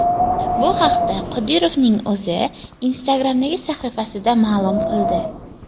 Bu haqda Qodirovning o‘zi Instagram’dagi sahifasida ma’lum qildi .